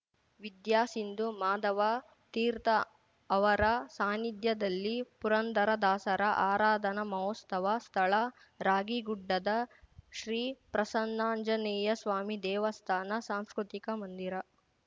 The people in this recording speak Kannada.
ವಿದ್ಯಾಸಿಂಧು ಮಾಧವ ತೀರ್ಥ ಅವರ ಸಾನ್ನಿಧ್ಯದಲ್ಲಿ ಪುರಂದರ ದಾಸರ ಆರಾಧನಾ ಮಹೋತ್ಸವ ಸ್ಥಳ ರಾಗಿಗುಡ್ಡದ ಶ್ರೀಪ್ರಸನ್ನಾಂಜನೇಯ ಸ್ವಾಮಿ ದೇವಸ್ಥಾನ ಸಾಂಸ್ಕೃತಿಕ ಮಂದಿರ